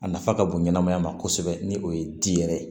A nafa ka bon ɲɛnamaya ma kosɛbɛ ni o ye di yɛrɛ ye